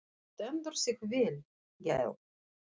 Þú stendur þig vel, Gael!